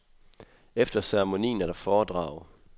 Efter ceremonien er der foredrag.